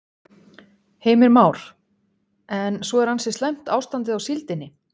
Heimir Már: En svo er ansi slæmt ástandið á síldinni?